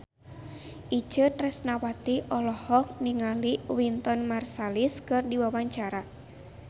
Itje Tresnawati olohok ningali Wynton Marsalis keur diwawancara